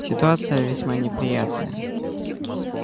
ситуация весьма неприятная